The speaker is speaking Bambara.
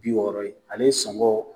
Bi wɔɔrɔ ale sɔngɔ